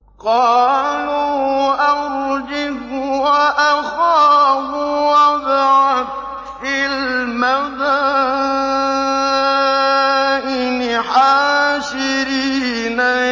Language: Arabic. قَالُوا أَرْجِهْ وَأَخَاهُ وَابْعَثْ فِي الْمَدَائِنِ حَاشِرِينَ